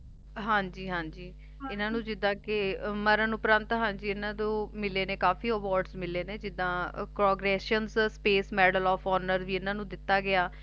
ਹਾਂਜੀ ਹਾਂਜੀ ਇੰਨਾ ਨੂੰ ਜਿੱਦਾ ਕਿ ਮਰਨ ਉਪਰੰਤ ਹਨਜੀ ਇਹਨਾਂ ਨੂੰ ਕਾਫ਼ੀ Award ਮਿਲੇ ਨੇ ਜਿੱਦਾ Progress Space Medal Of Honour ਵੀ ਇਹਨਾਂ ਨੂੰ ਦਿੱਤਾ ਗਿਆ